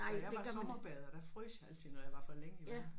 Da jeg var sommerbader der frøs jeg altid når jeg var for længe i vandet